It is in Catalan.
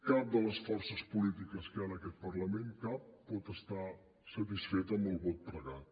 cap de les forces polítiques que hi ha en aquest parlament cap pot estar satisfeta amb el vot pregat